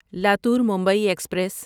Latur Mumbai express